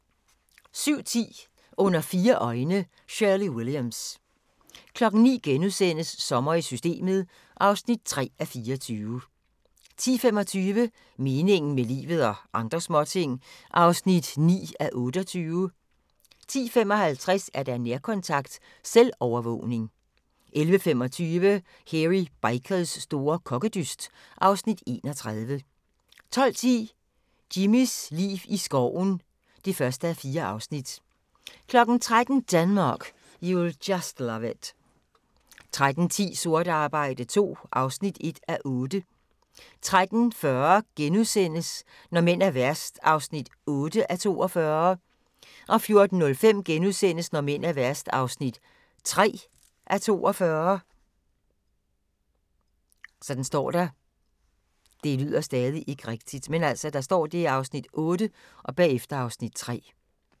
07:10: Under fire øjne – Shirley Williams 09:00: Sommer i Systemet (3:24)* 10:25: Meningen med livet – og andre småting (9:28) 10:55: Nærkontakt – selvovervågning 11:25: Hairy Bikers store kokkedyst (Afs. 31) 12:10: Jimmys liv i skoven (1:4) 13:00: Denmark, You'll Just Love It 13:10: Sort arbejde II (1:8) 13:40: Når mænd er værst (8:42)* 14:05: Når mænd er værst (3:42)*